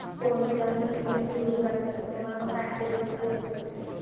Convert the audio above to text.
कोण जास्त tiffin घेऊन जात नाही, त्याच्यामुळे मग canteen मध्ये गर्दी होते.